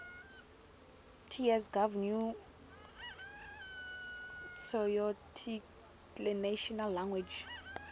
ts gov new tsoarticlenational language